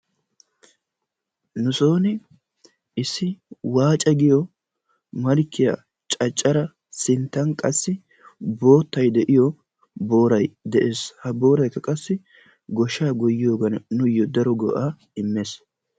nusooni issi waacca giyo malkkiya caccara sinttan qassi boottay de'iyo booray de'ees, ha booraykka qassi goshshaa goyiyoogan nuuyo daro go'aa immees.